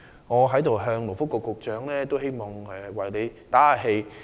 我在此為勞工及福利局局長打氣。